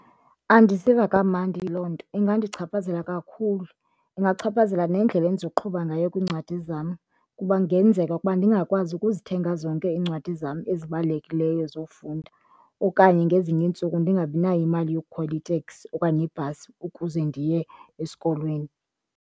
Andiziva kamandi yiloo nto. Ingandichaphazela kakhulu, ingachaphazela nendlela endizoqhuba ngayo kwiincwadi zam kuba kungenzeka ukuba ndingakwazi ukuzithenga zonke iincwadi zam ezibalulekileyo zofunda okanye ngezinye iintsuku ndingabinayo imali yokukhwela iteksi okanye ibhasi ukuze ndiye esikolweni.